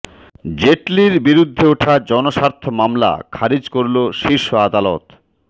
জেটলির বিরুদ্ধে ওঠা জনস্বার্থ মামলা খারিজ করল শীর্ষ আদালত